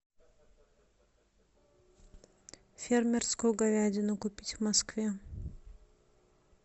фермерскую говядину купить в москве